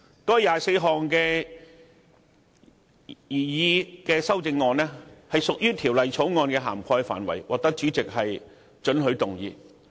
該24項修正案屬於《條例草案》的涵蓋範圍，因此獲主席准許可以提出。